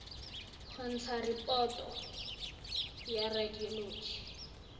go ntsha raporoto ya radioloji